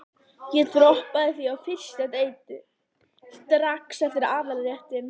Ég droppaði því alltaf á fyrsta deiti, strax eftir aðalréttinn.